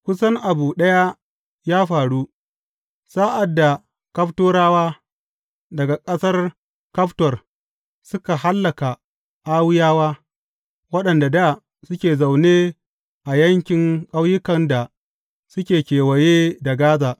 Kusan abu ɗaya ya faru, sa’ad da Kaftorawa daga ƙasar Kaftor suka hallaka Awwiyawa, waɗanda dā suke zaune a yankin ƙauyukan da suke kewaye da Gaza.